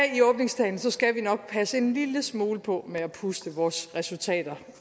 i åbningstalen skal vi nok passe en lille smule på med at puste vores resultater